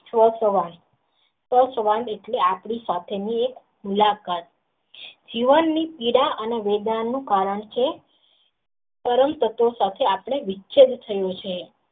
એટલે આપણી સાથે નું એક મુલાકાત જીવન ની પીડા ને રોબા નું કારણ છે પરંતુ વિચેદ થયો છે.